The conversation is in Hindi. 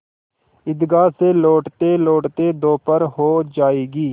ईदगाह से लौटतेलौटते दोपहर हो जाएगी